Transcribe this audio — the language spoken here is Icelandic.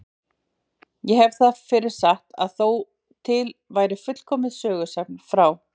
Ég hef það fyrir satt að þó til væri fullkomið sögusafn frá